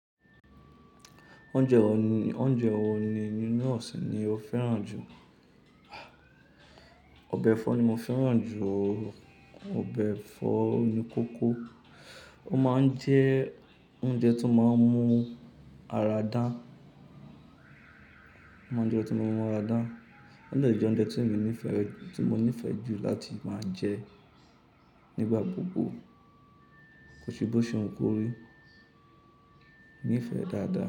Oúnjẹ wo ni, oúnjẹ wo ni nínú ọ̀sìn ni o fẹ́ràn jù? Ọbẹ̀ ẹ̀fọ́ ni mo fẹ́ràn jù, ọbẹ̀ ẹ̀fọ́ oníkókó. Ó máa ń jẹ́ oúnjẹ tó máa ń mú ara dán, ó máa ń jẹ́ oúnjẹ tó máa ń mú ara dán. Ó dẹ jẹ́ oúnjẹ tí èmi nífẹ̀ẹ́, tí mo nífẹ̀ẹ́ jù láti máa jẹ nígbà gbogbo. Kò sí bó ṣe wu kóri, nífẹ̀ẹ́ dáadáa.